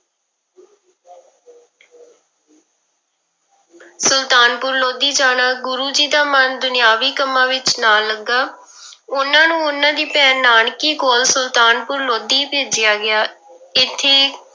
ਸੁਲਤਾਨਪੁਰ ਲੋਧੀ ਜਾਣਾ, ਗੁਰੂ ਜੀ ਦਾ ਮਨ ਦੁਨਿਆਵੀ ਕੰਮਾਂ ਵਿੱਚ ਨਾ ਲੱਗਾ ਉਹਨਾਂ ਨੂੰ ਉਹਨਾਂ ਦੀ ਭੈਣ ਨਾਨਕੀ ਕੋਲ ਸੁਲਤਾਨਪੁਰ ਲੋਧੀ ਭੇਜਿਆ ਗਿਆ, ਇੱਥੇ